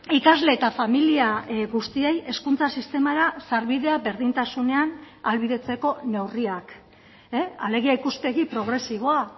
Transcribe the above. ikasle eta familia guztiei hezkuntza sistemara sarbidea berdintasunean ahalbidetzeko neurriak alegia ikuspegi progresiboa